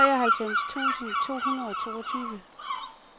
treoghalvfems tusind to hundrede og toogtyve